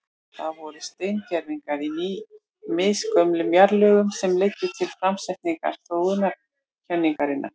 Það voru steingervingar í misgömlum jarðlögum sem leiddu til framsetningar þróunarkenningarinnar.